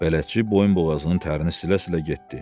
Bələdçi boyunboğazının tərini silə-silə getdi.